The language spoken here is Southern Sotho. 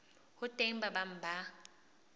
ho teng ba bang ba